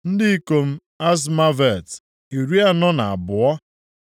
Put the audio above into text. Ndị ikom Azmavet, iri anọ na abụọ (42).